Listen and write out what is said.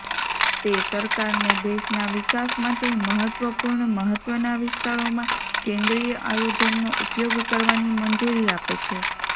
તે સરકારને દેશના વિકાસ માટે મહત્વપૂર્ણ મહત્ત્વના વિસ્તારોમાં કેન્દ્રીય આયોજનનો ઉપયોગ કરવાની મંજૂરી આપે છે